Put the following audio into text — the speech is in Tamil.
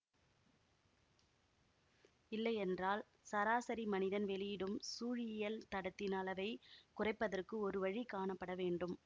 இல்லையென்றால் சராசரி மனிதன் வெளியிடும் சூழியியல் தடத்தின் அளவை குறைப்பதற்கு ஒரு வழி காணப்பட வேண்டும்